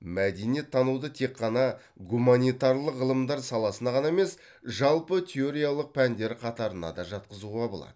мәдениеттануды тек қана гуманитарлық ғылымдар саласына ғана емес жалпы теориялық пәндер қатарына да жатқызуға болады